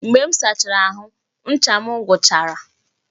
Mgbe m sachara ahụ, ncha m gwụchara